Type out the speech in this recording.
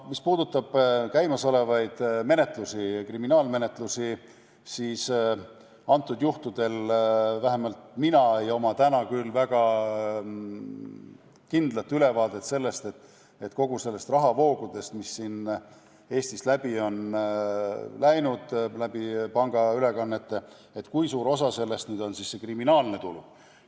Mis puudutab käimasolevaid kriminaalmenetlusi, siis vähemalt minul ei ole täna küll väga kindlat ülevaadet sellest, kui suur osa kõigist nendest rahavoogudest, mis Eestist on pangaülekannete kaudu läbi läinud, on kriminaalne tulu.